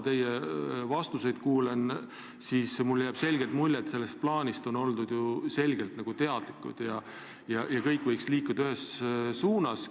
Teie vastuseid kuulates on jäänud selge mulje, et sellest plaanist on oldud teadlikud ja kõik võiks liikuda ühes suunas.